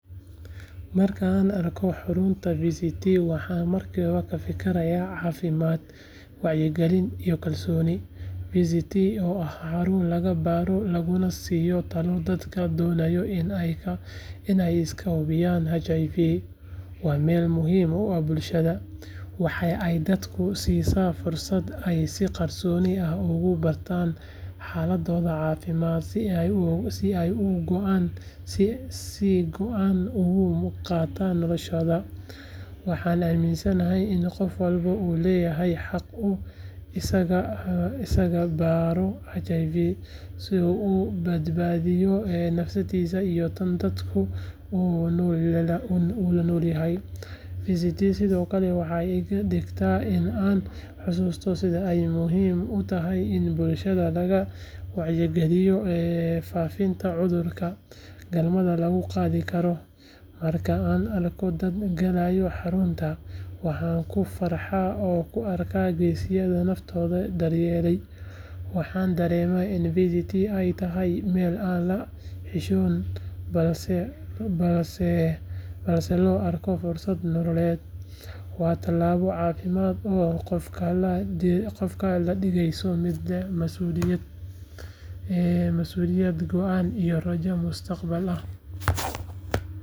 Marka aan arko xarunta VCT, waxaan markiiba ka fikirayaa caafimaad, wacyigelin iyo kalsooni. VCT oo ah xarun lagu baaro laguna siiyo talo dadka doonaya in ay iska hubiyaan HIV, waa meel muhiim u ah bulshada. Waxa ay dadka siisaa fursad ay si qarsoodi ah ugu bartaan xaaladdooda caafimaad si ay go'aan uga gaaraan noloshooda. Waxaan aaminsanahay in qof walba uu leeyahay xaq uu iskaga baadho HIV, si uu u badbaadiyo naftiisa iyo tan dadka uu la nool yahay. VCT sidoo kale waxay iga dhigtaa in aan xasuusto sida ay muhiim u tahay in bulshada laga wacyigeliyo faafidda cudurrada galmada lagu kala qaado. Marka aan arko dad galaya xarunta, waxaan ku farxaa oo u arkaa geesiyaal naftooda daryeelay. Waxaan dareemaa in VCT ay tahay meel aan laga xishoonin, balse loo arko fursad nololeed. Waa talaabo caafimaad oo qofka ka dhigaysa mid leh masuuliyad, go’aan iyo rajo mustaqbal.